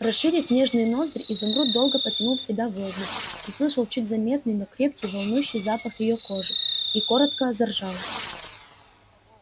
расширив нежные ноздри изумруд долго потянул в себя воздух услышал чуть заметный но крепкий волнующий запах её кожи и коротко заржал